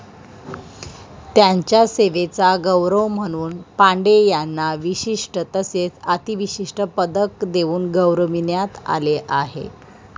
त्यांच्या सेवेचा गौरव म्हणून पांडे यांना विशिष्ट तसेच अतिविशिष्ट पदक देऊन गौरविण्यात आले आहे